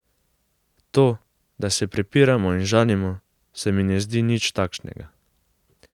To, da se prepiramo in žalimo, se mi ne zdi nič takšnega.